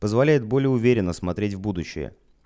позволяет более уверенно смотреть в будущее